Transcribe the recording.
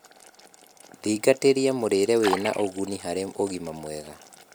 Thingatirĩa mũrire wĩna ũguni harĩ ũgima mwega